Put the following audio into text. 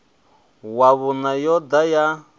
wa vhuṋa yo ḓa ya